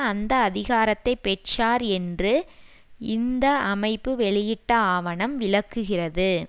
அந்த அதிகாரத்தை பெற்றார் என்று இந்த அமைப்புவெளியிட்ட ஆவணம் விளக்குகிறது